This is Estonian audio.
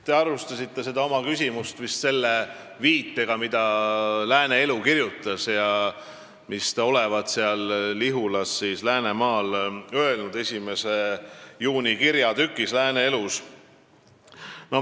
Te alustasite oma küsimust vist viitega sellele, mida Lääne Elu kirjutas, st 1. juunil avaldatud kirjatükile selle kohta, mida te olevat seal Läänemaal Lihulas öelnud.